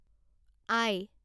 আই